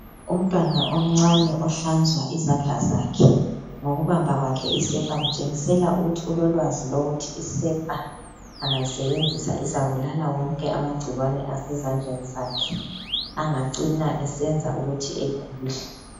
Umntwana omncane ohlanzwa izandla zakhe ngokubamba kwakhe isepa kutshengisela ukuthi ulolwazi lokuthi isepa angayisebenzisa izabulala wonke amagcikwane asezandleni zakhe angacina esenza ukuthi egule.